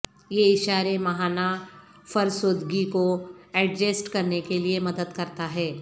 یہ اشارے ماہانہ فرسودگی کو ایڈجسٹ کرنے کے لئے مدد کرتا ہے